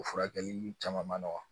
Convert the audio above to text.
O furakɛli caman man nɔgɔn